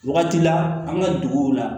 Wagati la an ka duguw la